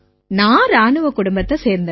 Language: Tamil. நான் இராணுவக் குடும்பத்தைச் சேர்ந்தவ